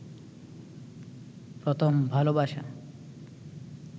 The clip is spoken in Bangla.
প্রথম ভালবাসা